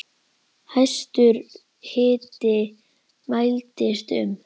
Hæstur hiti mældist um